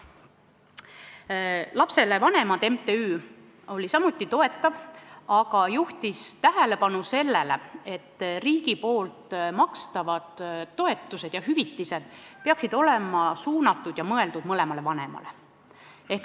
Mittetulundusühing Lapsele Vanemad oli samuti toetav, aga juhtis tähelepanu sellele, et riigi makstavad toetused ja hüvitised peaksid olema mõeldud mõlemale vanemale.